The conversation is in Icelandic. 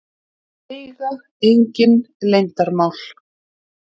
Eiga engin leyndarmál.